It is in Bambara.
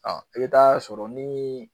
Aa e be t'a sɔrɔ ni